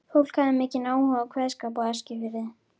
Fólk hafði mikinn áhuga á kveðskap á Eskifirði.